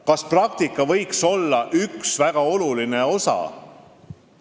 Kas praktika võiks olla üks väga oluline osa?